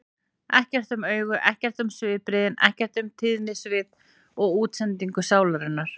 Ekkert um augun, ekkert um svipbrigðin, ekkert um tíðnisvið og útsendingu sálarinnar.